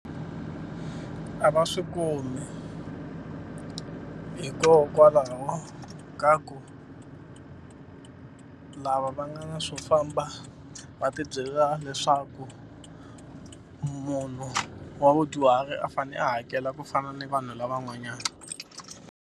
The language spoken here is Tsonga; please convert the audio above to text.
A va swi kumi hikokwalaho ka ku lava va nga na swo famba va tibyela leswaku munhu wa vudyuhari a fane a hakela ku fana ni vanhu lavan'wanyana.